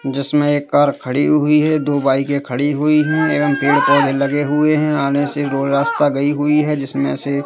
जिसमें एक कार खड़ी हुई है दो बाइकें खड़ी हुई हैं एवं पेड़-पौधे लगे हुए हैं आने से दो रास्ता गई हुई है जिसमें से --